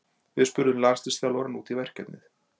Við spurðum landsliðsþjálfarann út í verkefnið.